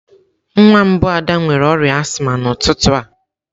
Nwa mbụ Ada nwere ọrịa azma n'ụtụtụ a.